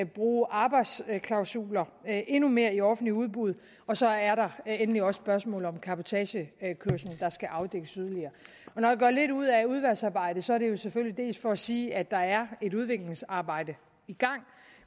bruge arbejdsklausuler endnu mere i offentligt udbud og så er der endelig også spørgsmålet om cabotagekørsel der skal afdækkes yderligere når jeg gør lidt ud af udvalgsarbejdet er det jo selvfølgelig dels for at sige at der er et udviklingsarbejde i gang